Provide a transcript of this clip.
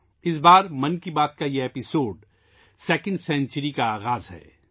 اس بار 'من کی بات' کا یہ ایپیسوڈ دوسری صدی کا آغاز ہے